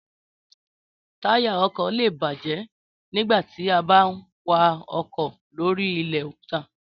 Táyà ọkọ̀ lé è bàjẹ́ nígbà tí a bá ń wa ọkọ̀ lóri ilẹ̀ òkúta